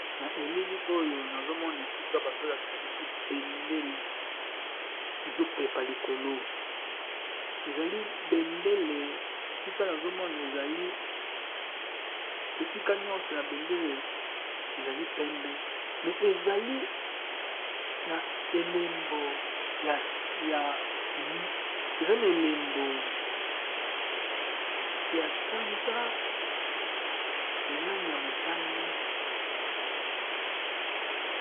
Na elili Oyo bazo lakisa biso bendele Main ezali na elembo ya danza na langi ya motane